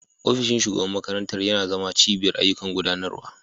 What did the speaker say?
Ofishin shugaban makarantar yana zama cibiyar ayyukan gudanarwa.